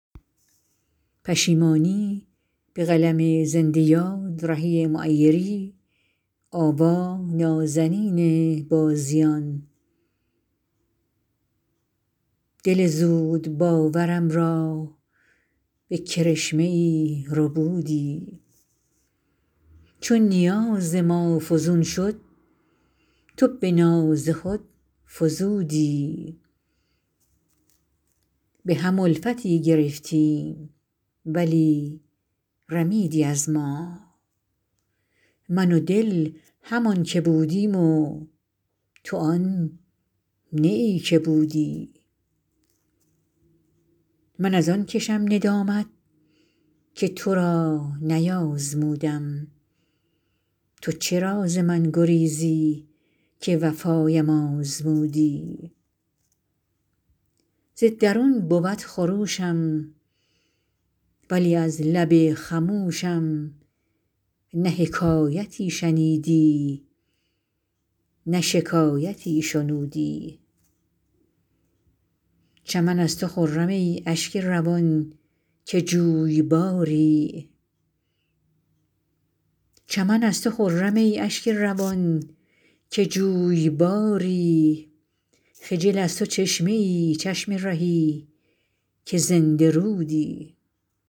دل زودباورم را به کرشمه ای ربودی چو نیاز ما فزون شد تو به ناز خود فزودی به هم الفتی گرفتیم ولی رمیدی از ما من و دل همان که بودیم و تو آن نه ای که بودی من از آن کشم ندامت که تو را نیازمودم تو چرا ز من گریزی که وفایم آزمودی ز درون بود خروشم ولی از لب خموشم نه حکایتی شنیدی نه شکایتی شنودی چمن از تو خرم ای اشک روان که جویباری خجل از تو چشمه ای چشم رهی که زنده رودی